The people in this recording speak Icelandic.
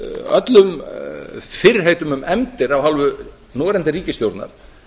öllum fyrirheitum um efndir af hálfu núverandi ríkisstjórnar